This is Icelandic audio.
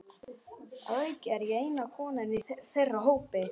Að auki er ég eina konan í þeirra hópi.